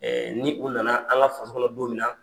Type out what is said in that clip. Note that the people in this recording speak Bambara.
ni u nana an ka faso kɔnɔ don min na.